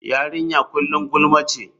Yarinya kullum gulma ce.